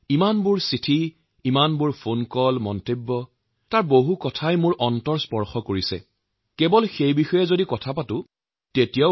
ইমানবোৰ চিঠি ইমানবোৰ ফোন কল মতামতৰ ভিতৰত যিবোৰ মই পঢ়িছো যিবোৰ শুনিবলৈ পাইছে আৰু এইবোৰৰ মাজত বহুত বিষয় আছে যি আমাৰ হৃদয়মন চুঁই গৈছে